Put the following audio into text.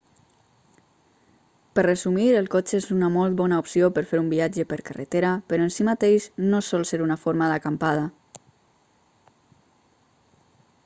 per resumir el cotxe és una molt bona opció per fer un viatge per carretera però en si mateix no sol ser una forma d'"acampada